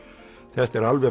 þetta er alveg